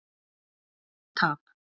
Hik og tap.